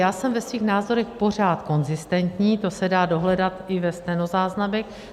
Já jsem ve svých názorech pořád konzistentní, to se dá dohledat i ve stenozáznamech.